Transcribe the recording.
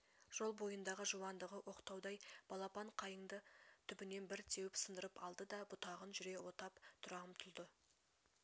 жол бойындағы жуандығы оқтаудай балапан қайыңды түбінен бір теуіп сындырып алды да бұтағын жүре отап тұра ұмтылды